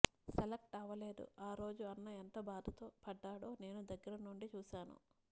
select అవలేదు ఆ రోజు అన్న ఎంత బాధ పడ్డాడో నేను దగ్గర నుండి చూసాను